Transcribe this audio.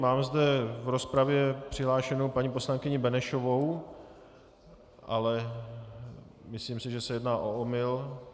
Mám zde v rozpravě přihlášenou panu poslankyni Benešovou, ale myslím si, že se jedná o omyl.